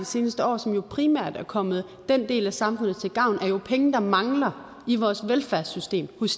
seneste år som jo primært er kommet den del af samfundet til gavn er jo penge der mangler i vores velfærdssystem hos